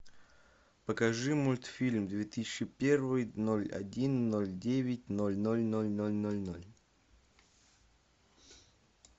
покажи мультфильм две тысячи первый ноль один ноль девять ноль ноль ноль ноль ноль ноль